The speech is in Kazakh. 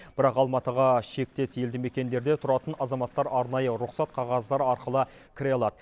бірақ алматыға шектес елді мекендерде тұратын азаматтар арнайы рұқсат қағаздары арқылы кіре алады